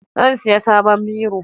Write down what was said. Zan siyi saban biro